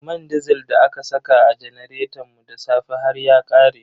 Man disil da aka saka a janaretan mu da safe har ya ƙare.